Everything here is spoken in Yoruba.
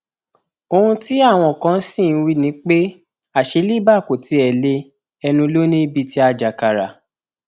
ohun tí àwọn kan sì ń wí ni pé àṣẹ libre kò tiẹ lé ẹnu lọ ní bíi ti ajàkára